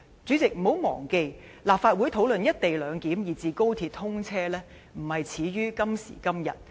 主席，請不要忘記，立法會討論"一地兩檢"，以至高鐵通車，不是始於今時今日。